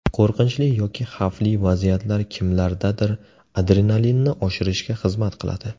Qo‘rqinchli yoki xavfli vaziyatlar kimlardadir adrenalinni oshirishga xizmat qiladi.